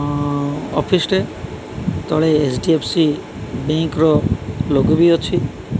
ଅ ଅଫିସ୍ ଟେ ତଳେ ଏଚ୍_ଡି_ଏଫ୍_ସି ବେଙ୍କର ଲୋଗ ବି ଅଛି।